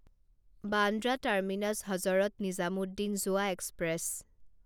Bandra terminus Hazrat Nizamuddin যোৱা express